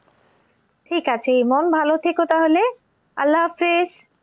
ঠিক আছে ইমন ভালো থেকো তাহলে আল্লাহ হাফিজ।